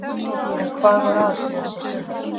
En hvað var að síðasta sumar?